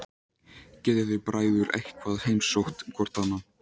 Getið þið bræður eitthvað heimsótt hvor annan?